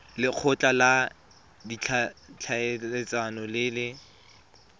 lekgotla la ditlhaeletsano le le